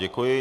Děkuji.